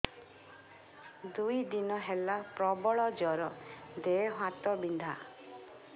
ଦୁଇ ଦିନ ହେଲା ପ୍ରବଳ ଜର ଦେହ ହାତ ବିନ୍ଧା